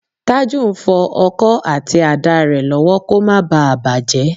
Tájù ń fọ ọkọ àti àdá rẹ̀ lọ́wọ́ kó má bá à bàjẹ́